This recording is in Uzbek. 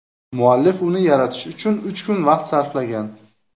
Muallif uni yaratish uchun uch kun vaqt sarflagan.